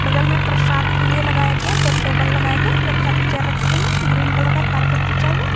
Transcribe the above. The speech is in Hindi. बगल में प्रसाद के लिए लगाया गया दो टेबल लगाया गया बहुत सारी चेयर रखी गई है ग्रीन कलर का कारपेट बिछा हुआ।